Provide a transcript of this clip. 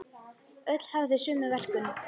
Öll hafa þau sömu verkun.